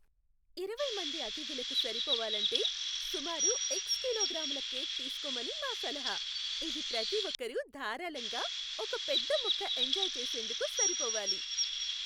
ఇరవై మంది అతిథులకు సరిపోవాలంటే, సుమారు ఎక్స్ కిలోగ్రాముల కేక్ తీస్కోమని మా సలహా. ఇది ప్రతి ఒక్కరూ ధారాళంగా ఒక పెద్ద ముక్క ఎంజాయ్ చేసేందుకు సరిపోవాలి.